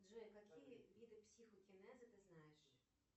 джой какие виды психокинеза ты знаешь